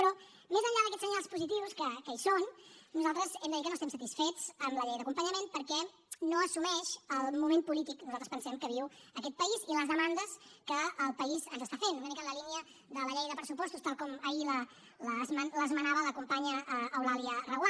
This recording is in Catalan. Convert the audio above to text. però més enllà d’aquests senyals positius que hi són nosaltres hem de dir que no estem satisfets amb la llei d’acompanyament perquè no assumeix el moment polític que nosaltres pensem que viu aquest país ni les demandes que el país ens està fent una mica en la línia de la llei de pressupostos tal com ahir l’esmenava la companya eulàlia reguant